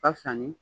Ka fisa ni